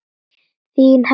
Þín Herdís.